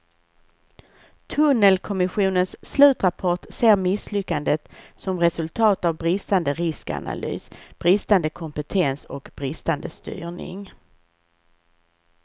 Tunnelkommissionens slutrapport ser misslyckandet som resultat av bristande riskanalys, bristande kompetens och bristande styrning.